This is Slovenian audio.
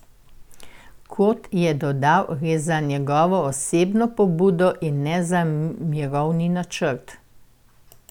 Kot je dodal, gre za njegovo osebno pobudo in ne za mirovni načrt.